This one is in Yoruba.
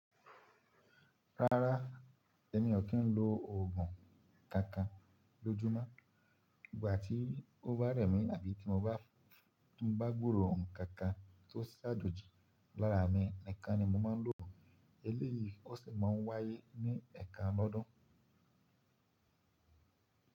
Rárá, èmi ò kí n lo oògùn kankan lójúmọ́. Ìgbà tí ó bá rẹ̀ mí àbí tí mo bá, tí n bá gbúró ǹkankan tó sáàjòji lára mi ni kan ni mo máa ń lo òògùn. Eléyìí ó sì ma ń wáyé ní ẹ̀ẹ̀kan lọ́dún.